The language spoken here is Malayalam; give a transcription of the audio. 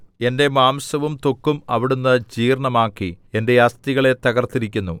എന്റെ മാംസവും ത്വക്കും അവിടുന്ന് ജീർണ്ണമാക്കി എന്റെ അസ്ഥികളെ തകർത്തിരിക്കുന്നു